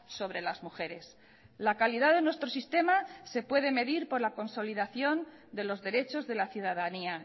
sobre las mujeres la calidad de nuestro sistema se puede medir por la consolidación de los derechos de la ciudadanía